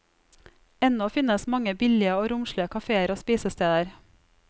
Ennå finnes mange billige og romslige kaféer og spisesteder.